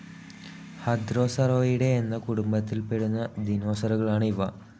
ഹദ്രോസറോയിഡേ എന്ന കുടുംബത്തിൽ പെടുന്ന ദിനോസറുകളാണ് ഇവ.